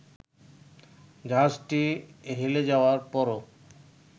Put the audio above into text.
জাহাজটি হেলে যাওয়ার পরও